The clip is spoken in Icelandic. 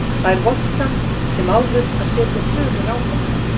Það er vont samt sem áður að setja tölur á þetta.